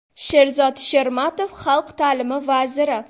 Sherzod Shermatov, xalq ta’limi vaziri.